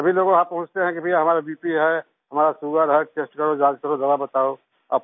सभी लोग वहाँ पूछते हैं कि भईया हमारा बीपी है हमारा सुगर है टेस्ट करो जांच करो दवा बताओ